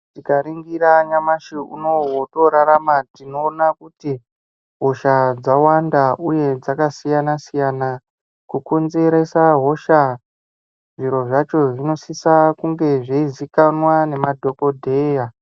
Tikaningira nyamashi unowu wotorarama tinoona kuti hosha dzawanda uye dzakasiyana siyana kukonzeresa hosha zviro zvacho zvinosisa kunge zveizivikanwa nemadhokodheya.